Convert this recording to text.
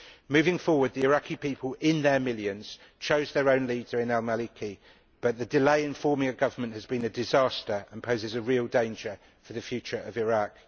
Moving forward, the Iraqi people in their millions chose their own leader in al Maliki but the delay in forming a government has been a disaster and poses a real danger for the future of Iraq.